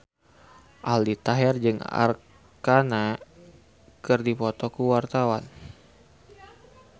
Aldi Taher jeung Arkarna keur dipoto ku wartawan